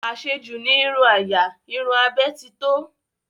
Àṣejù ní irun àyà, irun abẹ́ titọ́